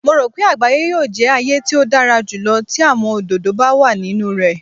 Mo ro pe agbaye yoo jẹ aaye ti o dara julọ ti awọn ododo ba wa ninu rẹ.